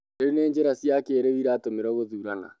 Rĩu nĩ njĩra cia kĩrĩu iratũmĩrwo gũthũrana